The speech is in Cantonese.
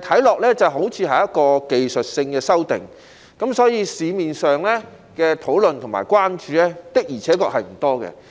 看起來好像是技術性修訂，所以，社會上的討論和關注的而且確不多。